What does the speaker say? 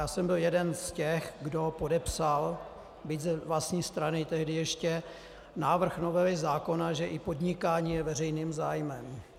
Já jsem byl jeden z těch, kdo podepsal, byť z vlastní strany tehdy ještě, návrh novely zákona, že i podnikání je veřejným zájmem.